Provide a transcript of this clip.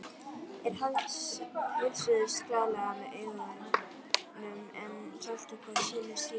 Þeir heilsuðust glaðlega með augunum en héldu hvor sínu striki.